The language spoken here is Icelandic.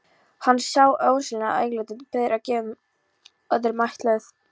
Hann sá ósýnileg augnatillit þeirra engum öðrum ætluð.